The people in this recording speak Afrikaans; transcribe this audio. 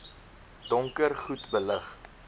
donker goed belig